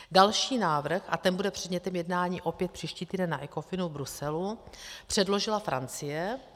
Další návrh, a ten bude předmětem jednání opět příští týden na Ecofinu v Bruselu, předložila Francie.